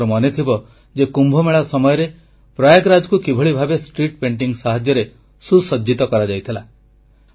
ଆପଣମାନଙ୍କର ମନେଥିବ ଯେ କୁମ୍ଭମେଳା ସମୟରେ ପ୍ରୟାଗରାଜକୁ କିଭଳି ଭାବେ ସୁସଜ୍ଜିତ କରାଯାଇଥିଲା